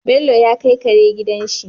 Bello ya kai Kare gidan shi